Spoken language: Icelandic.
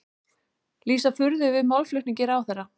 Lýsa furðu yfir málflutningi ráðherra